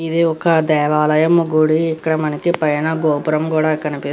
ఇది ఒక దేవాలయం గుడి. ఇక్కడ మనకి పైన గోపురం కూడా కనిపిస్ --